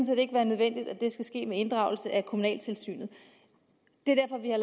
set ikke være nødvendigt at det skal ske med inddragelse af kommunaltilsynet det er derfor vi har